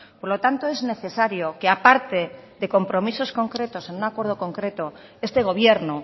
por lo tanto es necesario que aparte de compromisos concretos en un acuerdo concreto este gobierno